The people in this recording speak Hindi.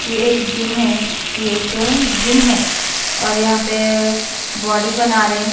यह एक जिम है यह एक जिम है और यहाँ पे बॉडी बना रहे हैं।